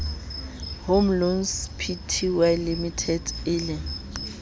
home loans pty limited eleng